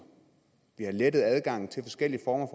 og lettere adgang til forskellige former